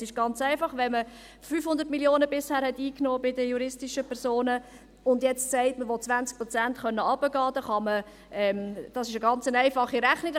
Es ist ganz einfach: Wenn man bei den juristischen Personen bisher 500 Mio. Franken eingenommen hat und nun sagt, man wolle 20 Prozent runtergehen können, ist dies eine ganz einfache Rechnung.